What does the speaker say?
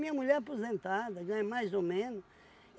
Minha mulher é aposentada, ganha mais ou menos.